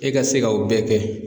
E ka se ka o bɛɛ kɛ.